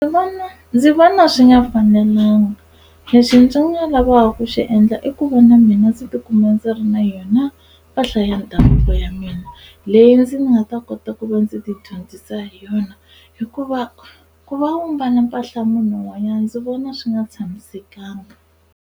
ndzi vona swi nga fanelanga leswi ndzi nga lava ku swi endla i ku va na mina ndzi tikuma ndzi ri na yona mpahla ya ndhavuko ya mina leyi ndzi nga ta kota ku va ndzi tidyondzisa hi yona hikuva ku va u mbala mpahla munhu un'wanyana ndzi vona swi nga tshamisekanga.